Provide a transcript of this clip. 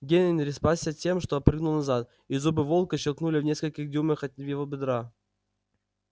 генри спасся тем что отпрыгнул назад и зубы волка щёлкнули в нескольких дюймах от его бедра